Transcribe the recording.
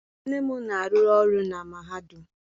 Nne m na-arụ ọrụ na mahadum.